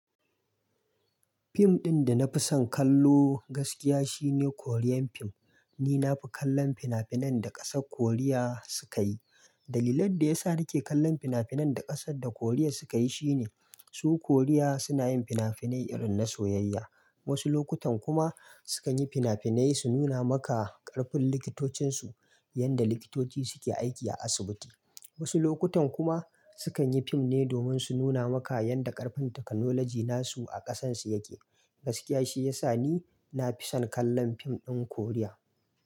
Fim ɗin da na fi son kallo gaskiya shine Korean fim. Ni na fi kallon fina-finan da ƙasar Koriya suka yi. Dalilin da ya sa nake kallon fina-finan da ƙasar da Koriya suka yi shine su Koriya suna yin fina-finai irin na soyayya. Wasu lokutan kuma sukan yi fina-finai su nuna maka ƙarfin likitocinsu, yadda likitoci suke aiki a asibiti. Wasu lokutan kuma sukan yi fim ne domin su nuna maka yadda ƙarfin taknolaji nasu a ƙasansu yake. Gaskiya shi ya sa ni na fi son kallon fim ɗin Koriya.